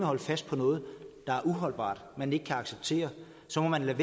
holde fast på noget der er uholdbart man ikke kan acceptere så må man lade